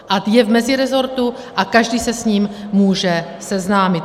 A je v mezirezortu a každý se s ním může seznámit.